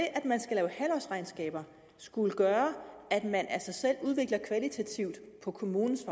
at man skal lave halvårsregnskaber gør at man af sig selv udvikler kvalitativt på kommunens